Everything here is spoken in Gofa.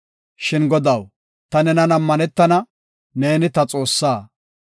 Shin Godaw, ta nenan ammanetana; neeni ta Xoossaa.